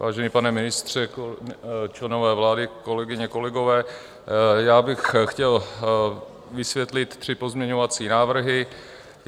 Vážený pane ministře, členové vlády, kolegyně, kolegové, já bych chtěl vysvětlit tři pozměňovací návrhy.